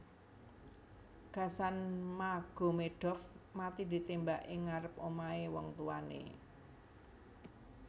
Gasan Magomedov mati ditémbak ing ngarep omahé wong tuwané